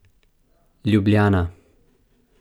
Ljubljana.